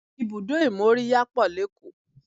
Ibùdó ìmóríyá pọ̀ lékòó